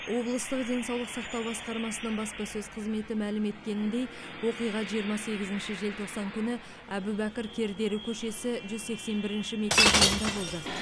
облыстық денсаулық сақтау басқармасының баспасөз қызметі мәлім еткеніндей оқиға жиырма сегізінші желтоқсан күні әбубәкір кердері көшесі жүз сексен бір мекенжайында болды